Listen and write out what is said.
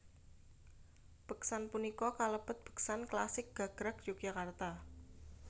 Beksan punika kalebet beksan klasik gagrag Yogyakarta